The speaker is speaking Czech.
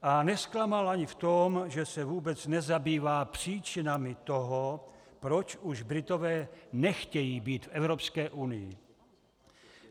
A nezklamal ani v tom, že se vůbec nezabývá příčinami toho, proč už Britové nechtějí být v Evropské unii.